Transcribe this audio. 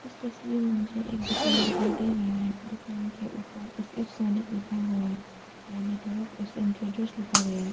इस तस्वीर में मुझे एक दुकान दिखाई दे रहा है दुकान के ऊपर ऐसे एफ सोनीक लिखा हुआ है दाहिने तरफ एस एन ट्रेडर्स लिखा गया है।